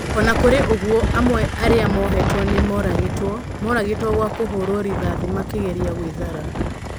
O na kũrĩ ũguo, amwe arĩa mohetwo nĩ moragĩtwo. Moragĩtwo gwa kũhũrwo rithathi makĩgeria gwĩthara.